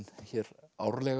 hér árlega